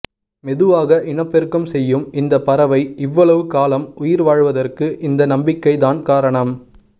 மெதுவாக இனப்பெருக்கம் செய்யும் இந்த பறவை இவ்வளவு காலம் உயிர் வாழ்வதற்கு இந்த நம்பிக்கை தான் காரணம்